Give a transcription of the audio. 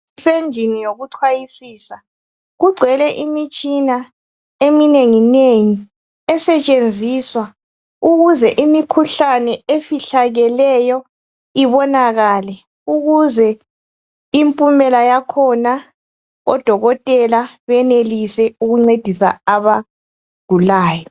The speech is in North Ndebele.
Endlini yokuchayisisa kugcwele eminengi nengi esetshenziswa ukuze imikhuhlane efihlakeleyo ibonakale ukuze impumela yakhona odokotela benelise ukuncedisa abagulayo.